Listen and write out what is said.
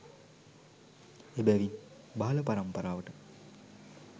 එබැවින්, බාල පරම්පරාවට